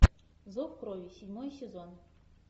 зов крови седьмой сезон